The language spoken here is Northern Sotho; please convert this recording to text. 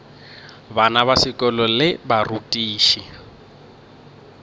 bana ba sekolo le barutiši